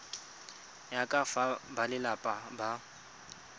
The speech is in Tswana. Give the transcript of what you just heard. ya ka fa balelapa ba